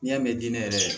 N'i y'a mɛn diinɛ yɛrɛ